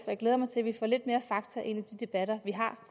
jeg glæder mig til at vi får lidt mere fakta ind i de debatter vi har